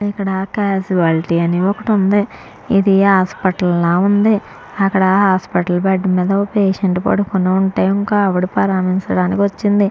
ఇక్కడ క్యాజువాలిటీ లాగా అని ఒకటి ఉంది.ఇది హాస్పిటల్ ల ఉంది. అక్కడ హాస్పిటల్ బెడ్ మీద ఒక్కలు పడుకొని ఉంటె ఇంకో ఆమె పరామర్శించడానికి వచ్చింది.